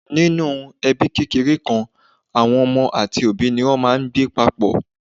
ninu ebi kékeré kan, àwọn ọmọ àti òbí ni o ma n gbẹ papọ